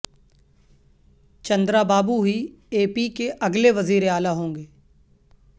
چندرابابو ہی A P کے اگلے وزیراعلی ہوں گے